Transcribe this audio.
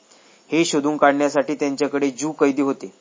हे शोधून काढण्यासाठी त्यांच्याकडे ज्यू कैदी होते.